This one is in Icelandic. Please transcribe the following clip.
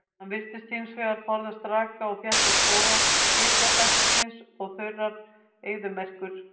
Hann virðist hins vegar forðast raka og þétta skóga hitabeltisins og þurrar eyðimerkur.